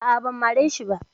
Aa, ban mare shi ba